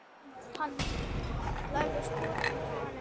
Hann læðist brott frá henni.